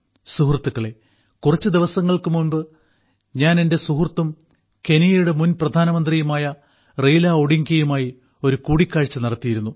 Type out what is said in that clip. സുഹൃത്തുക്കളേ കുറച്ച് ദിവസങ്ങൾക്ക് മുമ്പ് ഞാൻ എന്റെ സുഹൃത്തും കെനിയയുടെ മുൻ പ്രധാനമന്ത്രിയുമായ റെയ്ല ഒഡിംഗയുമായി ഒരു കൂടിക്കാഴ്ച നടത്തിയിരുന്നു